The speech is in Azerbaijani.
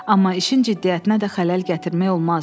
Amma işin ciddiyyətinə də xələl gətirmək olmazdı.